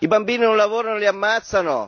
I bambini non lavorano li ammazzano!